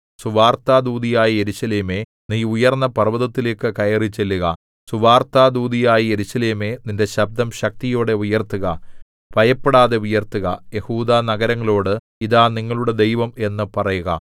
സുവാർത്താദൂതിയായ യെരൂശലേമേ നീ ഉയർന്നപർവ്വതത്തിലേക്കു കയറിച്ചെല്ലുക സുവാർത്താദൂതിയായ യെരൂശലേമേ നിന്റെ ശബ്ദം ശക്തിയോടെ ഉയർത്തുക ഭയപ്പെടാതെ ഉയർത്തുക യെഹൂദാനഗരങ്ങളോട് ഇതാ നിങ്ങളുടെ ദൈവം എന്നു പറയുക